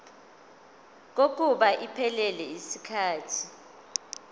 kokuba iphelele yisikhathi